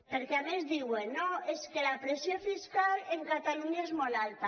perquè a més diuen no és que la pressió fiscal en catalunya és molt alta